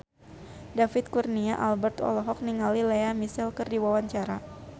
David Kurnia Albert olohok ningali Lea Michele keur diwawancara